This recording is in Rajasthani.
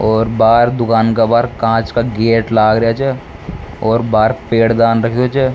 और बाहर दूकान का बाहर कांच का गेट लाग रेहा छ और बाहर पेर दान रखयो छे।